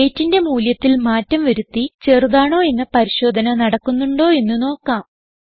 weightന്റെ മൂല്യത്തിൽ മാറ്റം വരുത്തി ചെറുതാണോ എന്ന പരിശോധന നടക്കുന്നുണ്ടോ എന്ന് നോക്കാം